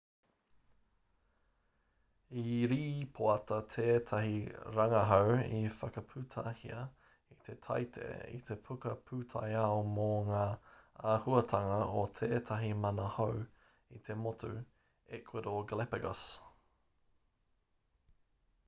i rīpoata tētahi rangahau i whakaputahia i te taite i te puka pūtaiao mō ngā āhuatanga o tētahi manu hou i te motu ecuador galapagos